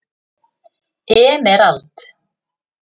Emerald